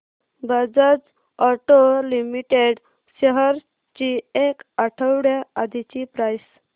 Bajaj auto limited shares ची एक आठवड्या आधीची प्राइस